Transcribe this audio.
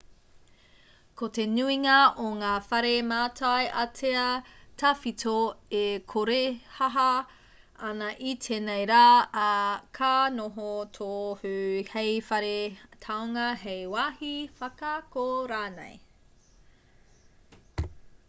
ko te nuinga o ngā whare mātai ātea tawhito e korehāhā ana i tēnei rā ā ka noho tohu hei whare taonga hei wāhi whakaako rānei